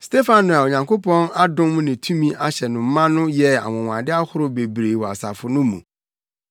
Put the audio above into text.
Stefano a Onyankopɔn adom ne tumi ahyɛ no ma no yɛɛ anwonwade ahorow bebree wɔ asafo no mu.